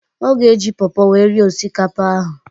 Ọ ga-eji pawpaw wee rie osikapa ahụ